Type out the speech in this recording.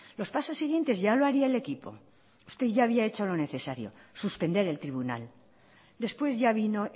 los pasos siguientes ya lo haría el equipo usted ya había hecho lo necesario suspender el tribunal después ya vino